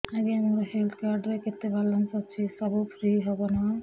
ଆଜ୍ଞା ମୋ health card ରେ କେତେ ବାଲାନ୍ସ ଅଛି ସବୁ ଫ୍ରି ହବ ନାଁ